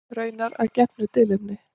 Raunar að gefnu tilefni.